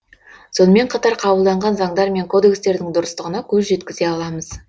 сонымен қатар қабылданған заңдар мен кодекстердің дұрыстығына көз жеткізе аламыз